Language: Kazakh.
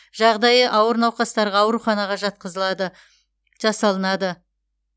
жағдайы ауыр науқастарға ауруханаға жасалынады